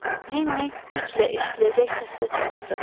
Lenni güclə eşidiləcək səslə çağırdı.